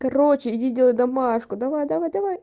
короче иди делай домашку давай давай давай